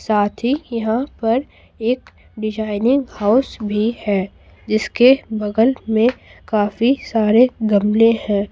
साथी यहां पर एक डिजाइनिंग हाउस भी है जिसके बगल में काफी सारे गमले हैं।